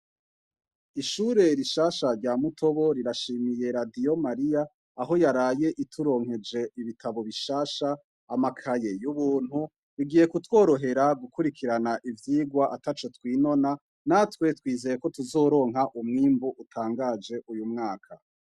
Ishure rishasha rya mutobo rirashimiye radiyo Mariya aho yaraye ituronkeje ibitabo bishasha, amakaye y'ubuntu. Bigiye kutworohera gukurikirana ivyigwa ataco twinona. Natwe twizeye ko tuzoronka umwimbu utangaje uyu mwaka.